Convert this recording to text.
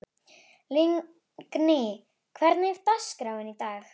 Lingný, hvernig er dagskráin í dag?